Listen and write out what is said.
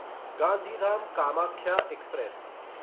Gandhidham Kamakhya express